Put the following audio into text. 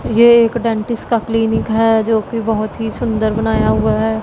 ये एक डेंटिस्ट का क्लीनिक है जो कि बहुत ही सुंदर बनाया हुआ है।